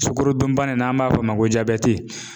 Sukarodunbana n'an b'a fɔ o ma ko